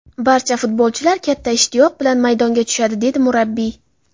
Barcha futbolchilar katta ishtiyoq bilan maydonga tushadi”, dedi murabbiy.